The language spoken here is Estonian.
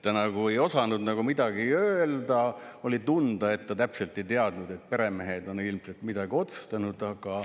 Ta nagu ei osanud midagi öelda, oli tunda, et ta täpselt ei teadnud, et peremehed on ilmselt midagi otsustanud.